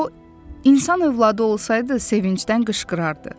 O insan övladı olsaydı, sevincdən qışqırardı.